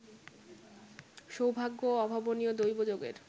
সৌভাগ্য ও অভাবনীয় দৈবযোগের